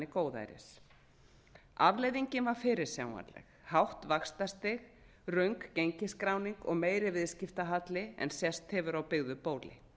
góðæris afleiðingin var fyrirsjáanleg hátt vaxtastig meiri gengisskráning og meiri viðskiptahalli en sést hefur á byggðu bóli